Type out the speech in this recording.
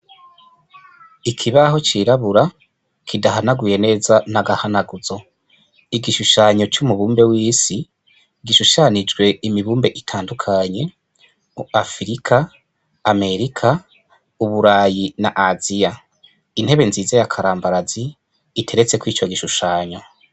Ikibaho cirabura kidahanaguye neza n' agahanuguzo igishushanyo c' umubumbe w'isi gishushanijwe imibumbe itandukanye afirika amerika uburayi n' aziya intebe nziza yakarambarazi iteretseko ico gishushanyo.